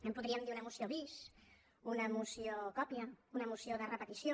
en podríem dir una moció bis una moció còpia una moció de repetició